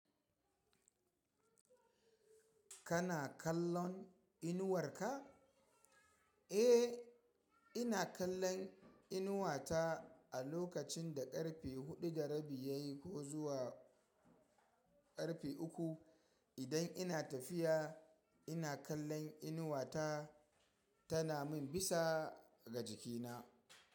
Kana kallon inuwar ka? Eh, ina kallon inuwata a lokacin da karfe huɗu da rabi yayi ko zuwa karfe uku. Idan ina tafiya ina kallon inuwata tana min bisa ga jikina.